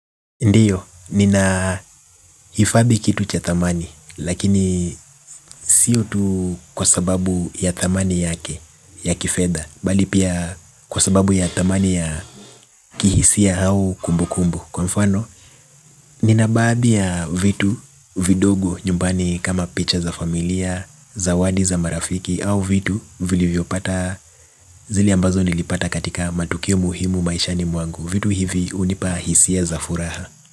Ndiyo, nina hifadhi kitu cha thamani, lakini sio tu kwa sababu ya thamani yake, ya kifedha, bali pia kwa sababu ya thamani ya kihisia au kubu kubu. Kwa mfano, nina baadhi ya vitu vidogo nyumbani kama picha za familia, zawadi za marafiki au vitu vilivyopata. Zile ambazo nilipata katika matokeo muhimu maishani mwangu. Vitu hivi hunipa hisia za furaha.